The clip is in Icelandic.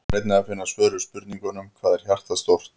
Hér er einnig að finna svör við spurningunum: Hvað er hjartað stórt?